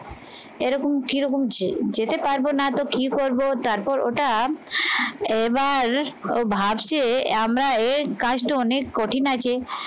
এরকম কিরকম যে যেতে পারবো না তো কি করবো তারপর ওটা এবার ও ভাবছে আমরা এর কাজটা অনেক কঠিন আছে